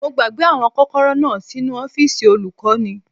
Mo gbàgbé àwọn kọ́kọ́rọ́ náà sínu ọ́fìsì olùkọ́ni